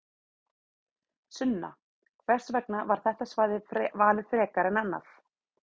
Sunna: Og hvers vegna var þetta svæði valið frekar en annað?